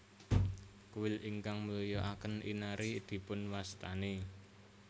Kuil ingkang mulyakaken Inari dipunwastani